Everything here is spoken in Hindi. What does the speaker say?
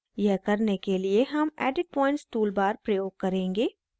यह करने के लिए हम edit points toolbar प्रयोग करेंगे